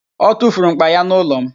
O tufuru m̀kpá ya n'ụlọ m